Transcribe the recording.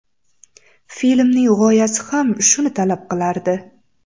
Filmning g‘oyasi ham shuni talab qilardi.